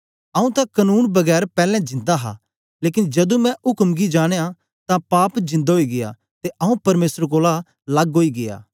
आंऊँ तां कनून बिना पैलैं जिन्दा हा लेकन जदू मैं उक्म गी जानया तां पाप जिन्दा ओई गीया ते आंऊँ परमेसर कोलां लग्ग ओई गीया